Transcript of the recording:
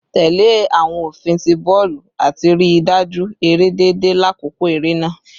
Tẹle awọn ofin ti bọọlu ati rii daju ere deede lakoko ere naa